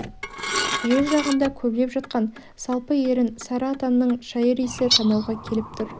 жел жағында көлбеп жатқан салпы ерін сары атанның шайыр иісі танауға келіп тұр